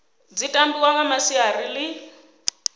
dzi tambiwa nga masiari ḽi